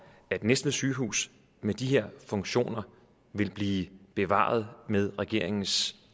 at næstved sygehus med de her funktioner ville blive bevaret med regeringens